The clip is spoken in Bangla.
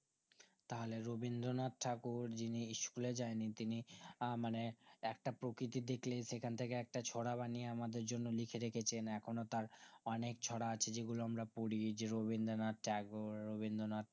তাহলে রবীন্দ্রনাথ ঠাকুর যিনি school এ যায়নি তিনি আ মানে একটা প্রকৃতি দেখলেই সেখান থেকে ছড়া বানিয়ে আমাদের জন্য লিখেরেখেছেন এখনো তার অনেক ছড়া আছে যেগুলো আমরা পড়ি যে রবীন্দ্রনাথ tagore রবীন্দ্রনাথ